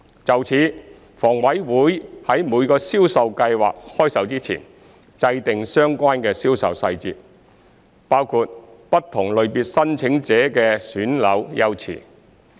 就此，房委會於每個銷售計劃開售前，制訂相關銷售細節，包括不同類別申請者的選樓優次。